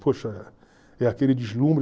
Poxa, é aquele deslumbre.